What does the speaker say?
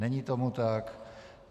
Není tomu tak.